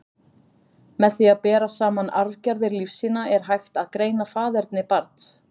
Með því að bera saman arfgerðir lífsýna, er hægt að greina faðerni barns.